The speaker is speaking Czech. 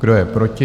Kdo je proti?